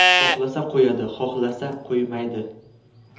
Xohlasa qo‘yadi, xohlasa qo‘ymaydi.